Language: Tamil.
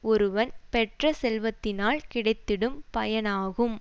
ஒருவன் பெற்ற செல்வத்தினால் கிடைத்திடும் பயனாகும்